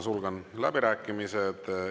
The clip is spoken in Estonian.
Sulgen läbirääkimised.